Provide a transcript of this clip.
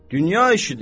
Dünya işidir.